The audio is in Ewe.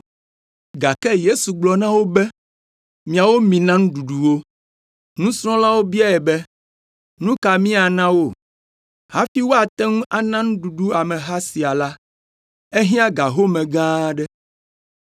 Gake Yesu gblɔ na wo be, “Miawo mina nuɖuɖu wo.” Nusrɔ̃lawo biae be, “Nu ka míana wo? Hafi woate ŋu ana nuɖuɖu ameha sia la, ehiã ga home gã aɖe.”